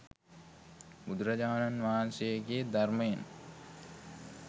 බුදුරජාණන් වහන්සේගේ ධර්මයෙන්